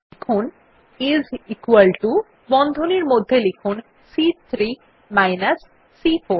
লিখুন is equal to এবং বন্ধনীর মধ্যে সংশ্লিষ্ট সেলদুটির নাম অর্থাৎ সি3 মাইনাস সি4